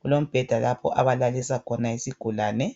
kulombheda lapho abalalisa khona isigulane.